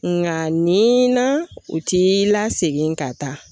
Ŋa nin na u t'i lasegin ka taa